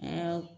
Aa